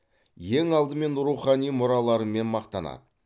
ең алдымен рухани мұраларымен мақтанады